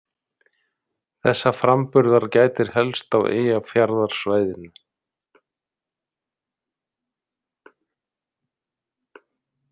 Þessa framburðar gætir helst á Eyjafjarðarsvæðinu.